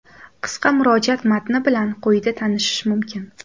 Qisqa murojaat matni bilan quyida tanishish mumkin.